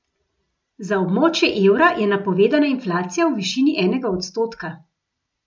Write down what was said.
Za območje evra je napovedana inflacija v višini enega odstotka.